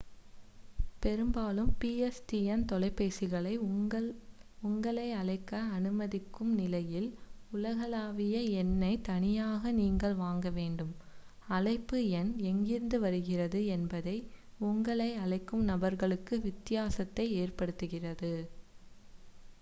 பெரும்பாலும் pstn தொலைபேசிகளை உங்களை அழைக்க அனுமதிக்கும் நிலையில் உலகளாவிய எண்ணைத் தனியாக நீங்கள் வாங்கவேண்டும் அழைப்பு எண் எங்கிருந்து வருகிறது என்பது உங்களை அழைக்கும் நபர்களுக்கு வித்தியாசத்தை ஏற்படுத்துகிறது